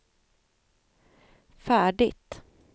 färdigt